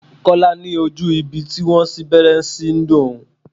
Kọ́lá ní ojú ibi tí wón sín gbẹ́rẹ́ ṣí ń dùn òun.